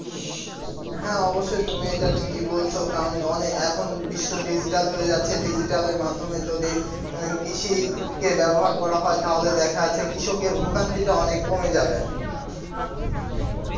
হ্যাঁ অবশ্যই তুমি এটা ঠিকই বলছো কারণ এখন অনেক বিশ্ব digital হয়ে যাচ্ছে digital এর মাধ্যমে যদি কৃষিকে ব্যবহার করা হয় তাহলে দেখা যাচ্ছে কৃষকের ভোগান্তি টা অনেক কমে যাবে।